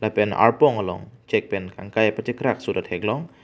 lapen arpong along chek pen kangpai pachekrakso ta theklong.